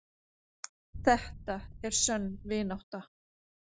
Þetta er sönn vinátta.